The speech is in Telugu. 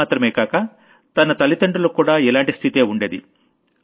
అదిమాత్రమే కాక తన తల్లిదండ్రులకు కూడా ఇలాంటి స్థితే ఉండేది